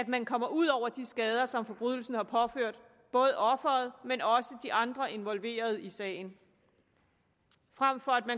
man kommer ud over de skader som forbrydelsen har påført offeret men også de andre involverede i sagen frem for